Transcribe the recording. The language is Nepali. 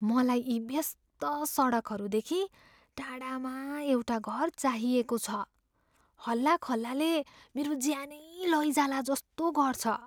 मलाई यी व्यस्त सडकहरूदेखि टाढामा एउटा घर चाहिएको छ, हल्लाखल्लाले मेरो ज्यानै लैजाला जस्तो गर्छ।"